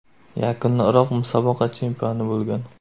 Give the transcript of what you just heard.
Yakunda Iroq musobaqa chempioni bo‘lgan.